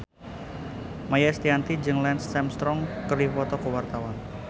Maia Estianty jeung Lance Armstrong keur dipoto ku wartawan